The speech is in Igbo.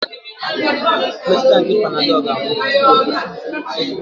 Mmetụta nke panadolu ga-agwụ tupu ụtụtụ.